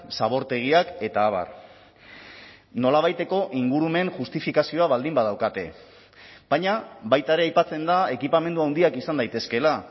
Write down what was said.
zabortegiak eta abar nolabaiteko ingurumen justifikazioa baldin badaukate baina baita ere aipatzen da ekipamendu handiak izan daitezkeela